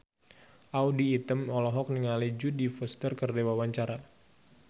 Audy Item olohok ningali Jodie Foster keur diwawancara